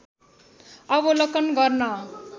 अवलोकन गर्न